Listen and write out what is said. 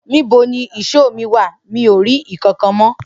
Nibo ni ìsọ mi wà? Mi ò rí kànkàn mọ.